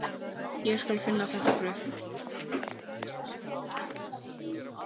Ég skal finna þetta bréf